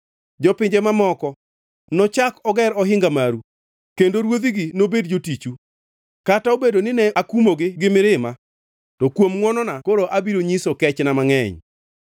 Jopinje mamoko nochak oger ohinga maru kendo ruodhigi nobed jotichu. Kata obedo nine akumogi gi mirima, to kuom ngʼwonona koro abiro nyiso kechna mangʼeny.